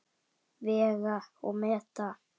Vega og meta.